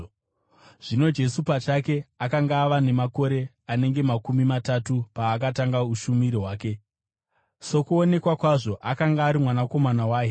Zvino Jesu pachake akanga ava namakore anenge makumi matatu paakatanga ushumiri hwake. Sokuonekwa kwazvo, akanga ari mwanakomana, mwanakomana waHeri,